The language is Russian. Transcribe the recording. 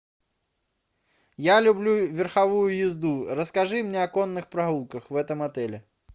я люблю верховую езду расскажи мне о конных прогулках в этом отеле